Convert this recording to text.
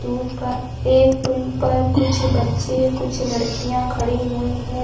दू पा एक पुल पर कुछ बच्चे कुछ लड़कियाँ खड़ी हुई हैं।